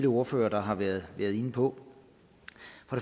ordførere der har været inde på